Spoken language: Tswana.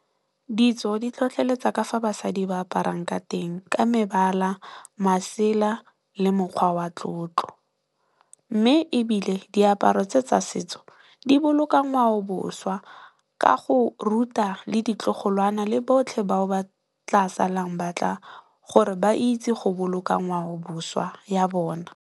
Ditso di tlhotlheletsa ka fa basadi ba aparang ka teng ka mebala, masela le mokgwa wa tlotlo. Mme ebile diaparo tse tsa setso di boloka ngwao boswa ka go ruta le ditlogolwana le botlhe bao ba tla salang batla gore ba itse go boloka ngwao boswa ya bona.